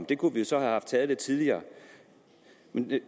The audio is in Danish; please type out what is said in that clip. det kunne vi jo så have haft taget lidt tidligere